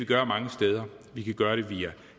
gøre mange steder vi kan gøre det via